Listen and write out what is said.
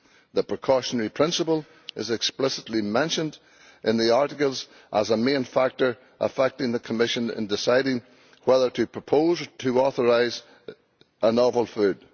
The precautionary principle is explicitly mentioned in the articles as a main factor for the Commission in deciding whether to propose to authorise a novel food.